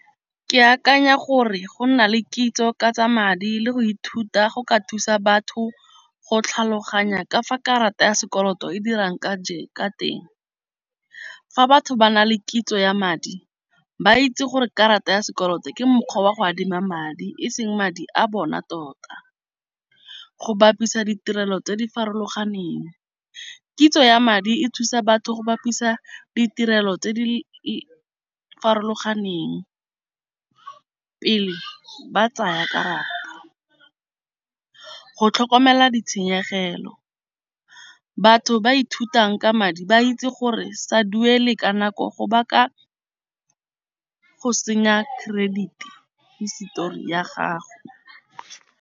Ke akanya gore go nna le kitso ka tsa madi le go ithuta go ka thusa batho go tlhaloganya ka fa karata ya sekoloto e dirang ka teng. Fa batho ba na le kitso ya madi ba itse gore karata ya sekoloto ke mokgwa wa go adima madi e seng madi a bona tota. Go bapisa ditirelo tse di farologaneng kitso ya madi e thusa batho go bapisa ditirelo tse di farologaneng pele ba tsaya karata. Go tlhokomela ditshenyegelo batho ba ithutang ka madi ba itse gore sa duele ka nako go baka go senya credit histori ya gago.